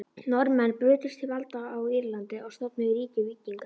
Norðmenn brutust til valda á Írlandi og stofnuðu ríki víkinga.